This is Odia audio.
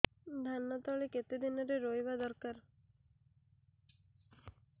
ଧାନ ତଳି କେତେ ଦିନରେ ରୋଈବା ଦରକାର